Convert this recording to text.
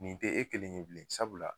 Nin te e kelen ye bilen sabu la .